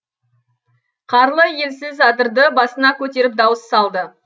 қарлы елсіз адырды басына көтеріп дауыс салды